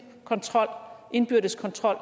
kontrol indbyrdes kontrol